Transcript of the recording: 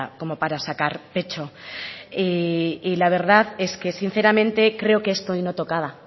como para sacar pecho y la verdad es que sinceramente creo que esto hoy no tocaba